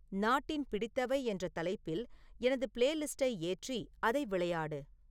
நாட்டின் பிடித்தவை என்ற தலைப்பில் எனது பிளேலிஸ்ட்டை ஏற்றி அதை விளையாடு